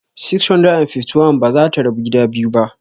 651 ba za ta rabu gida biyu ba.